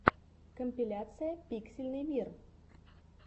компиляция пиксельный мир